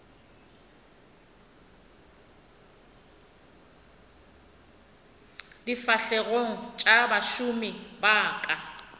difahlegong tša bašomi ba ka